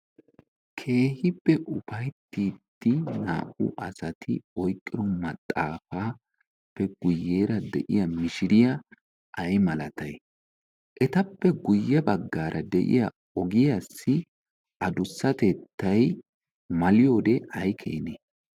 Keehippe ufaittiddi naa77u asati ooyqqiro maxaafaappe guyyeera de7iya mishiriya ay malatay? Ettappe guyye baggaara de7iya ogiyaassi adussatettay maliyoode ay keenee?